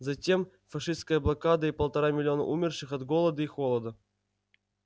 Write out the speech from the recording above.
затем фашистская блокада и полтора миллиона умерших от голода и холода